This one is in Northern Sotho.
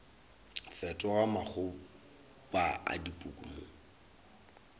fetoga makgoba a dipuku mo